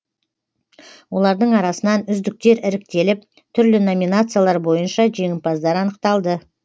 олардың арасынан үздіктер іріктеліп түрлі номинациялар бойынша жеңімпаздар анықталды